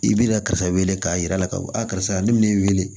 I bi na karisa wele k'a yira la k'a fɔ a karisa ne bi ne wele